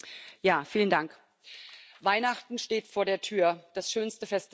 Herr Präsident! Weihnachten steht vor der Tür, das schönste Fest des Jahres.